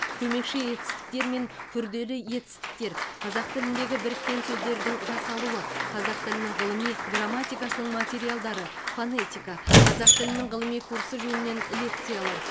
көмекші етістіктер мен күрделі етістіктер қазақ тіліндегі біріккен сөздердің жасалуы қазақ тілінің ғылыми грамматикасының материалдары фонетика қазақ тілінің ғылыми курсы жөнінен лекциялар